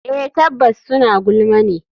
Eh tabbas suna gulma ne.